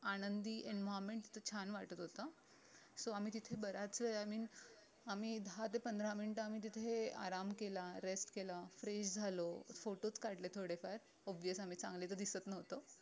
आनंदी environment छान वाटत होत so आम्ही तिथे बऱ्याच वेळाने आम्ही दहा ते पंधरा मिनीट आम्ही तिथे आराम केला rest केलं fresh झालो photos काढले थोडे फार obvious आम्ही चांगले तर दिसत नव्हतो